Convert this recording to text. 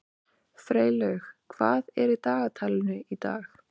Freylaug, hvað er í dagatalinu í dag?